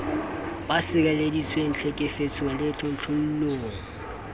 ba sireleditswe tlhekefetsong le tlontlollong